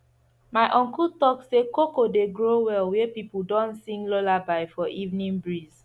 my uncle talk say cocoa dey grow well where people don sing lullaby for evening breeze